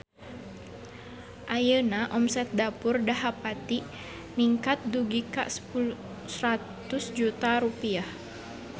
Ayeuna omset Dapur Dahapati ningkat dugi ka 100 juta rupiah